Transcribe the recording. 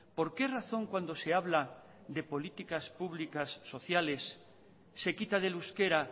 por qué razón cuando se habla de políticas públicas sociales se quita del euskera